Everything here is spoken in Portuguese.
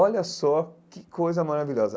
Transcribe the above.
Olha só que coisa maravilhosa.